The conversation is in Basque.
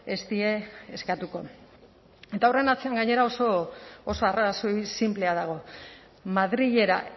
ez die eskatuko eta horren atzean gainera oso arrazoi sinplea dago madrilera